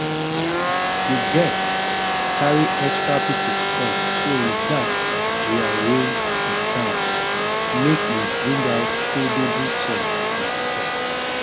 di guests carry extra people come so we gatz rearrange sitdown make we bring out foldable chairs from store